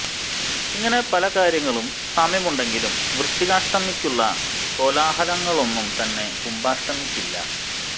ഇങ്ങനെ പല കാര്യങ്ങളിലും സാമ്യമുണ്ടെങ്കിലും വൃശ്ചികാഷ്ടമിയ്ക്കുള്ള കോലാഹലങ്ങളൊന്നും തന്നെ കുംഭാഷ്ടമിയ്ക്കില്ല